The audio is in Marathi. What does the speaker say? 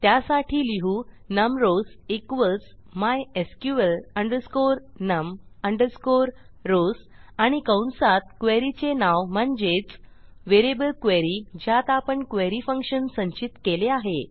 त्यासाठी लिहू num rows equals mysql num rows आणि कंसात queryचे नाव म्हणजेच व्हेरिएबल क्वेरी ज्यात आपण queryफंक्शन संचित केले आहे